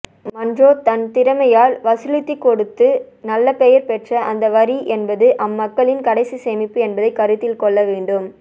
Munro தன் திறமையால் வசூலித்துக்கொடுத்து நல்லபெயர் பெற்ற அந்த வரி என்பது அம்மக்களின் கடைசிச் சேமிப்பு என்பதை கருத்தில்கொள்ளவேண்டும்